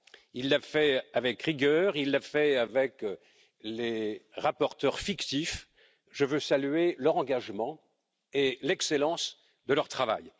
Il l'a fait avec rigueur, il l'a fait avec les rapporteurs fictifs, je veux saluer leur engagement et l'excellence de leur travail.